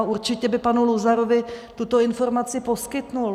A určitě by panu Luzarovi tuto informaci poskytl.